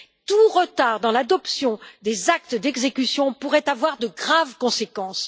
Tout retard dans l'adoption des actes d'exécution pourrait avoir de graves conséquences.